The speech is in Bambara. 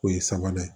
O ye sabanan ye